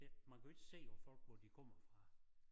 Det man kan jo ikke se på folk hvor de kommer fra